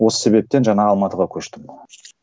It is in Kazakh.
осы себептен жаңа алматыға көштім